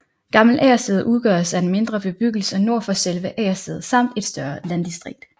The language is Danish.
Gammel Agersted udgøres af en mindre bebyggelse nord for selve Agersted samt et større landdistrikt